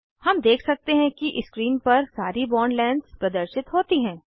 हम देख सकते हैं कि स्क्रीन पर सारी बॉन्ड लेंग्थस प्रदर्शित होती हैं